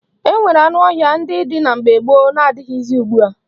E nwere anụ ọhịa ndị dị na mgbe gboo na-adịghịzi ugbua.